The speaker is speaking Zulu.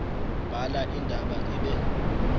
bhala indaba ibe